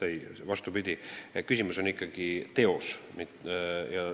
Ei, vastupidi, küsimus on ikkagi teos.